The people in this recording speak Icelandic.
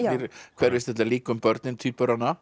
hverfist þetta líka um börnin tvíburana